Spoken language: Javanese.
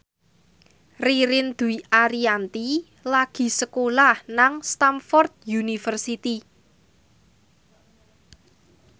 Ririn Dwi Ariyanti lagi sekolah nang Stamford University